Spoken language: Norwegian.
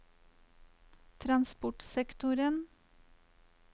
transportsektoren